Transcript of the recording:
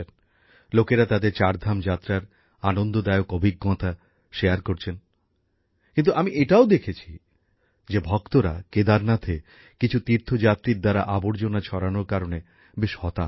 লোকেরা তাদের চারধাম যাত্রার আনন্দদায়ক অভিজ্ঞতা শেয়ার করছেন কিন্তু আমি এটাও দেখেছি যে ভক্তরা কেদারনাথে কিছু তীর্থযাত্রীর আবর্জনা ছড়ানোর কারণে বেশ হতাশ